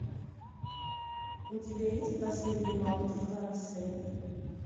у тебя есть последний мамонт франции